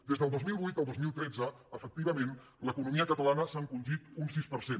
des del dos mil vuit al dos mil tretze efectivament l’economia cata·lana s’ha encongit un sis per cent